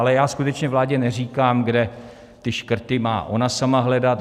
Ale já skutečně vládě neříkám, kde ty škrty má ona sama hledat.